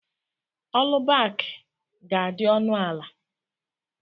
Ọlubaki ga-adị ọnụ ala